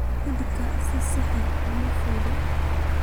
Kudka si sax ah uma fido.